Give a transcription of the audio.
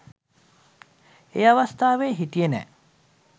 ඒ අවස්ථාවේ හිටියේ නෑ